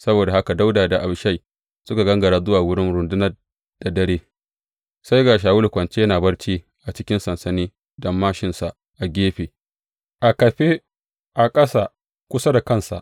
Saboda haka Dawuda da Abishai suka gangara zuwa wurin rundunar da dare, sai ga Shawulu kwance yana barci a cikin sansani da māshinsa a kafe a ƙasa kusa da kansa.